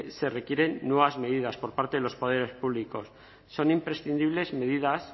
se requieren nuevas medidas por parte de los poderes públicos son imprescindibles medidas